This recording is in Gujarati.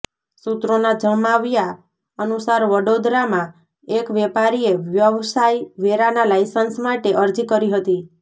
સુત્રોના જમાવ્યા અનુસાર વડોદરામાં એક વેપારીએ વ્યવસાય વેરાના લાયસન્સ માટે અરજી કરી હતી